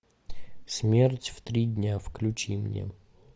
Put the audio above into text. смерть в три дня включи мне